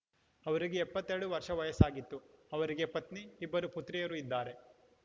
ಅವರಿಗೆ ಎಪ್ಪತ್ತೆರಡು ವರ್ಷ ವಯಸ್ಸಾಗಿತ್ತು ಅವರಿಗೆ ಪತ್ನಿ ಇಬ್ಬರು ಪುತ್ರಿಯರು ಇದ್ದಾರೆ